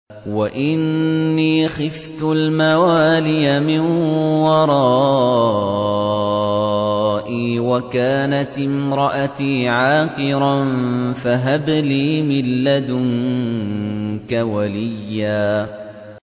وَإِنِّي خِفْتُ الْمَوَالِيَ مِن وَرَائِي وَكَانَتِ امْرَأَتِي عَاقِرًا فَهَبْ لِي مِن لَّدُنكَ وَلِيًّا